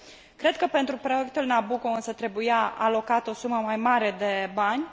Cred că pentru proiectul Nabucco însă trebuia alocată o sumă mai mare de bani.